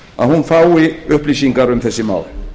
að hún fái upplýsingar um þess mál